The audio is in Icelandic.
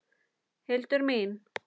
Hildur mín!